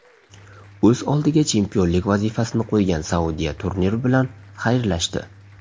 O‘z oldiga chempionlik vazifasini qo‘ygan Saudiya turnir bilan xayrlashdi.